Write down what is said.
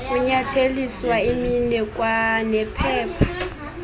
kunyatheliswa iminwe kwanephepha